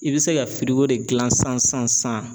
I bɛ se ka de gilan san san san san.